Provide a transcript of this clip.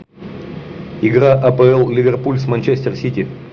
игра апл ливерпуль с манчестер сити